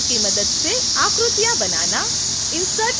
spline tool की मदद से आकृतियाँ बनाना